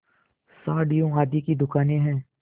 साड़ियों आदि की दुकानें हैं